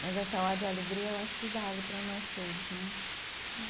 Mas essa ode a alegria eu acho que vale para nós todos, né? Hum